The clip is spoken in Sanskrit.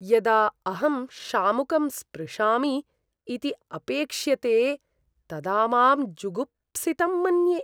यदा अहं शामुकं स्पृशामि इति अपेक्ष्यते तदा मां जुगुप्सितं मन्ये।